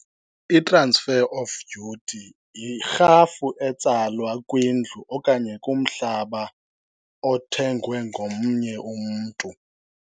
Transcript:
I-transfer of duty yirhafu etsalwa kwindlu okanye kumhlaba othengwe ngomnye umntu.